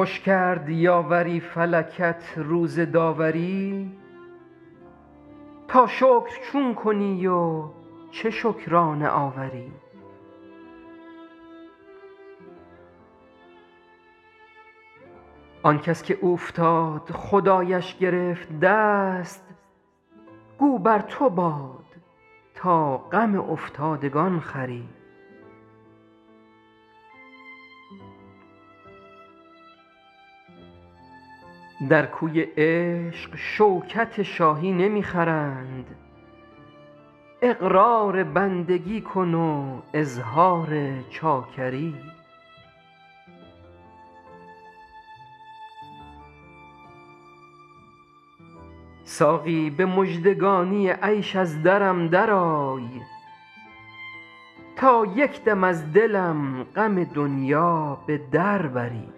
خوش کرد یاوری فلکت روز داوری تا شکر چون کنی و چه شکرانه آوری آن کس که اوفتاد خدایش گرفت دست گو بر تو باد تا غم افتادگان خوری در کوی عشق شوکت شاهی نمی خرند اقرار بندگی کن و اظهار چاکری ساقی به مژدگانی عیش از درم درآی تا یک دم از دلم غم دنیا به در بری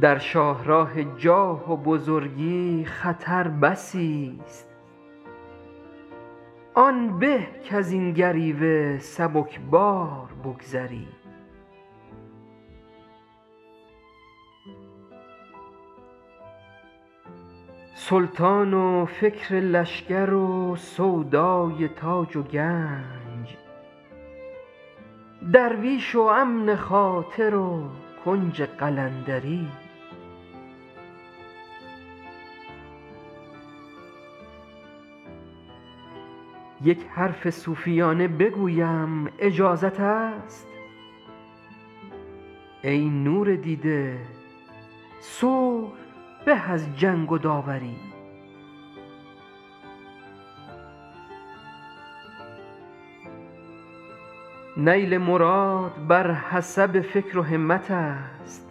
در شاه راه جاه و بزرگی خطر بسی ست آن به کز این گریوه سبک بار بگذری سلطان و فکر لشکر و سودای تاج و گنج درویش و امن خاطر و کنج قلندری یک حرف صوفیانه بگویم اجازت است ای نور دیده صلح به از جنگ و داوری نیل مراد بر حسب فکر و همت است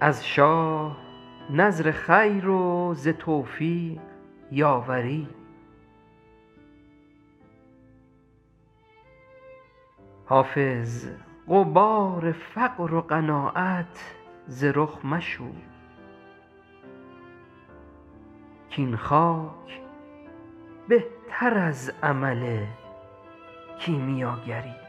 از شاه نذر خیر و ز توفیق یاوری حافظ غبار فقر و قناعت ز رخ مشوی کاین خاک بهتر از عمل کیمیاگری